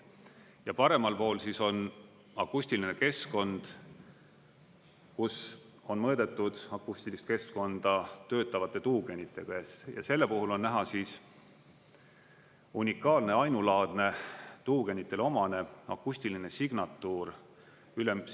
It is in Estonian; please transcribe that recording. Ja paremal pool on akustiline keskkond, kus on mõõdetud akustilist keskkonda töötavate tuugenitega, ja selle puhul on näha unikaalne, ainulaadne tuugenitele omane akustiline signatuur.